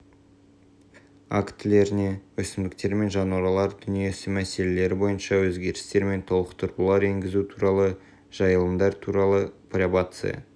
актілеріне өсімдіктер мен жануарлар дүниесі мәселелері бойынша өзгерістер мен толықтырулар енгізу туралы жайылымдар туралы пробация